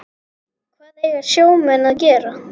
Hvað eiga sjómenn að gera?